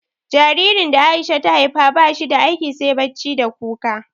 Jaririn da A'isha ta haifa ba shi da aiki sai bacci da kuka.